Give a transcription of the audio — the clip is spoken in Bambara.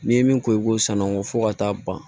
N'i ye min ko i b'o sann'a kɔ fo ka taa ban